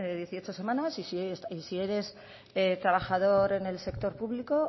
dieciocho semanas y si eres trabajador en el sector público